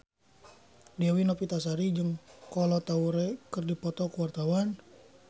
Dewi Novitasari jeung Kolo Taure keur dipoto ku wartawan